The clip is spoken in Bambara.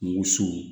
Woso